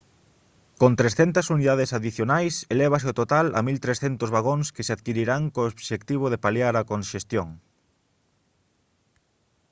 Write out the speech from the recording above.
con 300 unidades adicionais elévase o total a 1300 vagóns que se adquirirán co obxectivo de paliar a conxestión